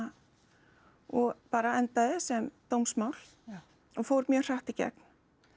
og bara endaði sem dómsmál og fór mjög hratt í gegn